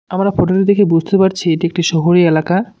আমরা ফটো টি দেখে বুঝতে পারছি এটি একটি শহুরি এলাকা।